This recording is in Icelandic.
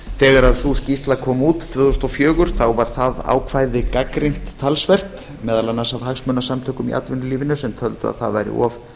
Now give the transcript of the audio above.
þegar sú skýrsla kom út tvö þúsund og fjögur var það ákvæði gagnrýnt talsvert meðal annars af hagsmunasamtökum í atvinnulífinu sem töldu að það væri of